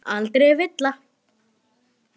Aldrei villa.